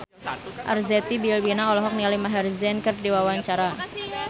Arzetti Bilbina olohok ningali Maher Zein keur diwawancara